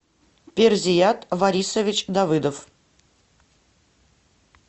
перзият варисович давыдов